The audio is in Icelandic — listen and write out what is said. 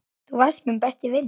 Þú varst minn besti vinur.